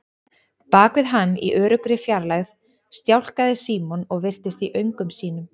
Bak við hann, í öruggri fjarlægð, stjáklaði Símon og virtist í öngum sínum.